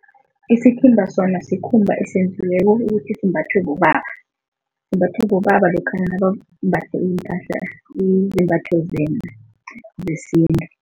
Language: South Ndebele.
Isithimba sona sikhumba esenziweko ukuthi simbathiwe bobaba. Simbathwa bobaba lokha nabambathe iimpahla izembatho zesintu.